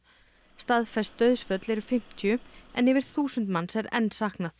staðfest dauðsföll eru fimmtíu en yfir þúsund manns er enn saknað